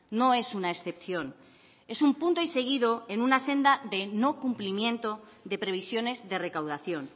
no es una excepción es un punto y seguido en una senda de no cumplimiento de previsiones de recaudación